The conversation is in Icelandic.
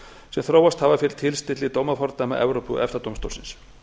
sem þróast hafa fyrir tilstilli dómafordæma evrópu og efta dómstólsins